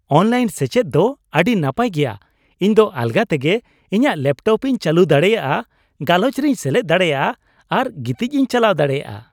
Online ᱥᱮᱪᱮᱫ ᱫᱚ ᱟᱹᱰᱤ ᱱᱟᱯᱟᱭ ᱜᱮᱭᱟ ᱾ ᱤᱧ ᱫᱚ ᱟᱞᱜᱟ ᱛᱮᱜᱮ ᱤᱧᱟᱜ ᱞᱮᱯᱴᱚᱯᱤᱧ ᱪᱟᱹᱞᱩ ᱫᱟᱲᱮᱭᱟᱜᱼᱟ, ᱜᱟᱞᱚᱪ ᱨᱮᱧ ᱥᱮᱞᱮᱫ ᱫᱟᱲᱮᱭᱟᱜᱼᱟ ᱟᱨ ᱜᱤᱛᱤᱡᱤᱧ ᱪᱟᱞᱟᱣ ᱫᱟᱲᱮᱭᱟᱜᱼᱟ ᱾